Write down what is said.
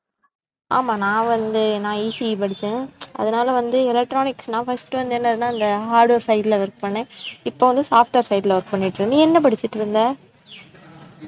ஆமா நான் வந்து நான் ECE படிச்சேன், அதனால வந்து electronics நான் first வந்து என்னனா அந்த hard work side ல work பண்ணேன், இப்ப வந்து software side ல work பண்ணிட்டு, நீ என்ன படிச்சிட்டு இருந்த